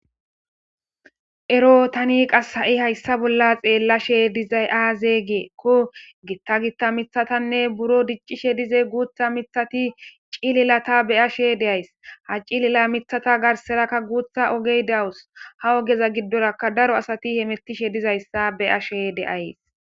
ero tani qas ha7i hayssa bolla xeellashe dizay aazegeekko gitta gitta mithatanne buro diccishe dize guutha mithati cililata be ashe deays ha cilila mithata garserakka guutha ogey dawus ha ogeza giddoraka daro asati hemettishe dizayssa be ashe deays